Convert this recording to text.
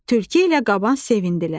Tülkü ilə qaban sevindilər.